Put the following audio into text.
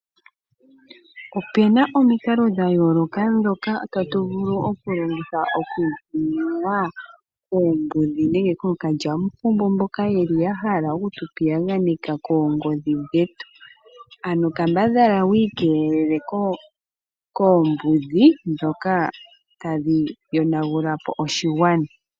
Opena omikalo dha yooloka ndhoka tatu vulu okulongitha oku ikeelela kookalyamupombo nenge Koombudhi mboka yeli yahala oku tupiyaganeka koongodhi dhetu, ano kambadhala wi ikeelele koombudhi ndhoka tadhi yonagulapo oshigwana.